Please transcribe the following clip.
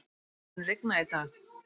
Dagrún, mun rigna í dag?